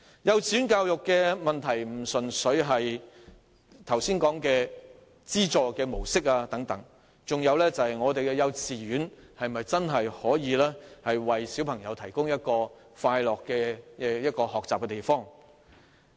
幼稚園教育問題並非純粹限於剛才所說的資助模式等事宜，還包括幼稚園能否真正為小朋友提供一個快樂學習的地方。